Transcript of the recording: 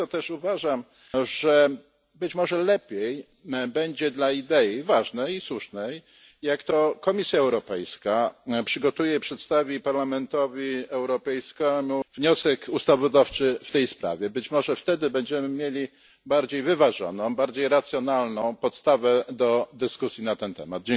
Dlatego też uważam, że być może lepiej będzie dla tej ważnej i słusznej idei, jeśli to Komisja Europejska przygotuje i przedstawi Parlamentowi Europejskiemu wniosek ustawodawczy w tej sprawie. Być może wtedy będziemy mieli bardziej wyważoną, bardziej racjonalną podstawę do dyskusji na ten temat.